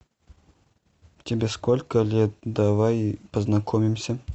тебе сколько лет давай познакомимся